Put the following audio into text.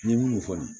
N'i ye minnu fɔ